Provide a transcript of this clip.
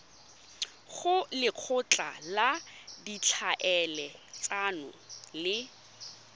go lekgotla la ditlhaeletsano le